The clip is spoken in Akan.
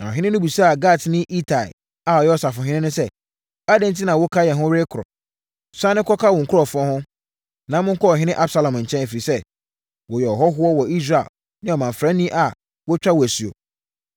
Na ɔhene no bisaa Gatni Itai a ɔyɛ ɔsafohene no sɛ, “Adɛn enti na woka yɛn ho rekɔ? Sane kɔka wo nkurɔfoɔ ho, na monkɔ ɔhene Absalom nkyɛn, ɛfiri sɛ, woyɛ ɔhɔhoɔ wɔ Israel ne ɔmamfrani a wɔatwa wo asuo.